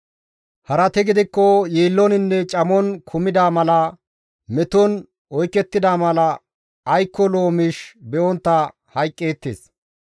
Harati gidikko yiillonne camon kumida mala meton oykettida mala aykko lo7o miish be7ontta hayqqeettes.